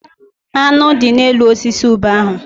Aṅụ dị n'elu osisi ube ahụ.